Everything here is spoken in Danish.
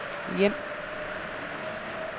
hjem